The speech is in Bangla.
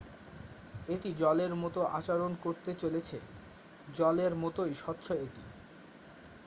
"""এটি জলের মতো আচরণ করতে চলেছে। জলেরর মতই স্বচ্ছ এটি।